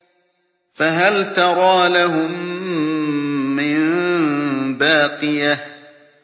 فَهَلْ تَرَىٰ لَهُم مِّن بَاقِيَةٍ